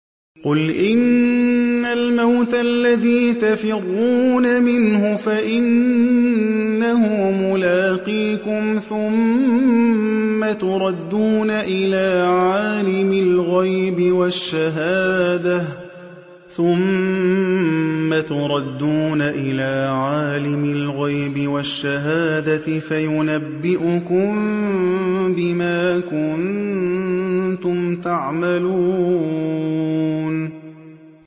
قُلْ إِنَّ الْمَوْتَ الَّذِي تَفِرُّونَ مِنْهُ فَإِنَّهُ مُلَاقِيكُمْ ۖ ثُمَّ تُرَدُّونَ إِلَىٰ عَالِمِ الْغَيْبِ وَالشَّهَادَةِ فَيُنَبِّئُكُم بِمَا كُنتُمْ تَعْمَلُونَ